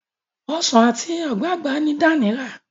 Ọsán ati ogbagba ni Dan rà.